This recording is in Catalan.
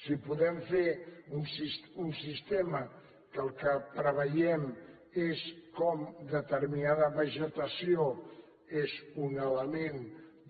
si podem fer un sistema que el que preveiem és com determinada vegetació és un element